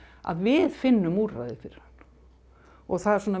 að við finnum úrræði fyrir hann og það